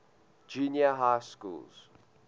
junior high schools